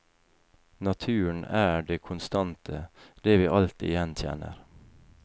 Naturen er det konstante, det vi alltid gjenkjenner.